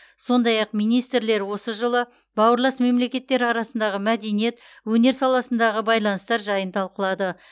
сондай ақ министрлер осы жылы бауырлас мемлекеттер арасындағы мәдениет өнер саласындағы байланыстар жайын талқылады